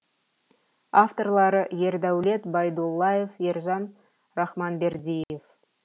авторлары ердәулет байдуллаев ержан рахманбердиев